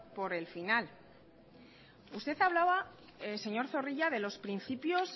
por el final usted hablaba señor zorrilla de los principios